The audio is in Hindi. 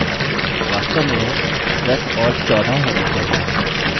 वास्तव में यह 10 और 14 होने चाहिए